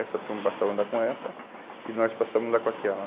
Essa turma passava a andar com essa e nós passávamos a andar com aquela.